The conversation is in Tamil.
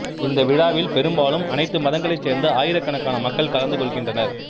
இந்த விழாவில் பெரும்பாலும் அனைத்து மதங்களைச் சேர்ந்த ஆயிரக்கணக்கான மக்கள் கலந்து கொள்கின்றனர்